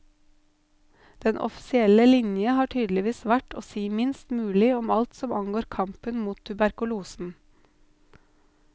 Den offisielle linje har tydeligvis vært å si minst mulig om alt som angår kampen mot tuberkulosen.